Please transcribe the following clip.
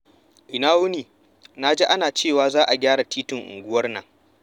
Ina wuni? Na ji ana cewa za a gyara titin unguwar nan.